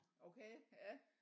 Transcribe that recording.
Okay ja